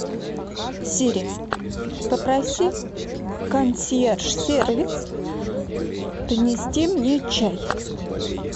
сири попроси консьерж сервис принести мне чай